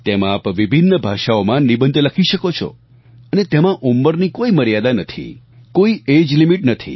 તેમાં આપ વિભિન્ન ભાષાઓમાં નિબંધ લખી શકો છો અને તેમાં ઉંમરની કોઈ મર્યાદા નથી કોઈ એજલિમિટ નથી